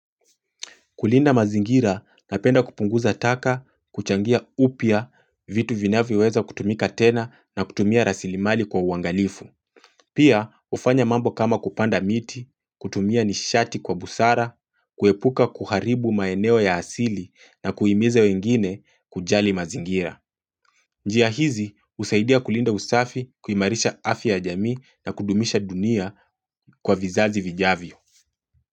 Kulinda mazingira napenda kupunguza taka, kuchangia upya vitu vinavyoweza kutumika tena na kutumia rasilimali kwa uangalifu. Pia hufanya mambo kama kupanda miti, kutumia nishati kwa busara, kuepuka kuharibu maeneo ya asili na kuhimiza wengine kujali mazingira. Njia hizi husaidia kulinda usafi kuimarisha afya ya jamii na kudumisha dunia kwa vizazi vijavyo.